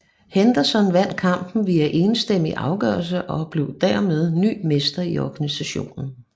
Henderson vandt kampen via enstemmig afgørelse og blev dermed ny mester i organisationen